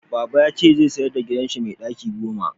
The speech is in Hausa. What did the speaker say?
Baba ya ce zai sayar da gidanshi mai daki goma